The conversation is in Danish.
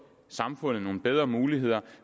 samfundet nogle bedre muligheder